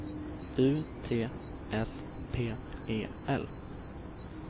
U T S P E L